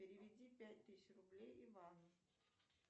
переведи пять тысяч рублей ивану